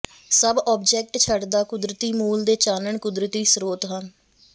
ਸਭ ਆਬਜੈਕਟ ਛਡਦਾ ਕੁਦਰਤੀ ਮੂਲ ਦੇ ਚਾਨਣ ਕੁਦਰਤੀ ਸਰੋਤ ਹਨ